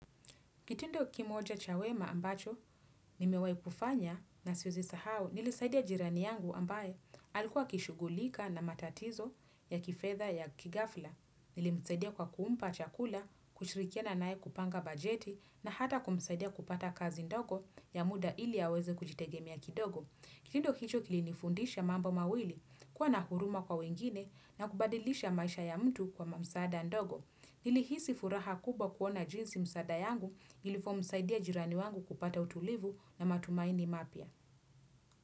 Kitindo kimoja cha wema ambacho, nimewai kufanya na siwezi sahau nilisaidia jirani yangu ambaye alikuwa akishugulika na matatizo ya kifedha ya kighafla. Nilimsaidia kwa kuumpa chakula, kushirikiana nae kupanga bajeti na hata kumsaidia kupata kazi ndogo ya muda ili aweze kujitegemea kidogo. Kitindo hicho kilinifundisha mambo mawili, kuwa na huruma kwa wengine na kubadilisha maisha ya mtu kwa mamsada ndogo. Nilihisi furaha kubwa kuona jinsi msada yangu ilifomsaidia jirani wangu kupata utulivu na matumaini mapya.